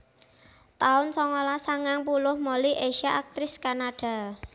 taun songolas sangang puluh Molly Ezia aktris Kanada